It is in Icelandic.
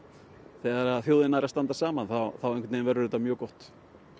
þegar þjóðin nær að standa saman þá verður þetta mjög gott